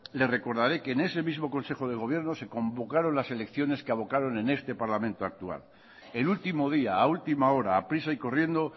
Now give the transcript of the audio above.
le recordará que en ese mismo consejo de gobierno se convocaron las elecciones que abocaron en este parlamento actual el último día a última hora a prisa y corriendo